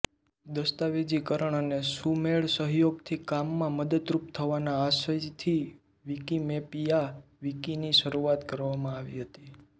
દસ્તાવેજીકરણ અને સુમેળસહયોગથી કામમાં મદદરૂપ થવાના આશયથી વિકીમેપિયા વિકીની શરૂઆત કરવામાં આવી હતી